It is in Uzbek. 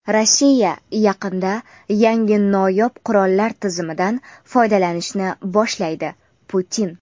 Rossiya yaqinda yangi noyob qurollar tizimidan foydalanishni boshlaydi — Putin.